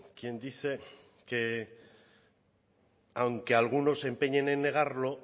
quien dice que aunque algunos se empeñen en negarlo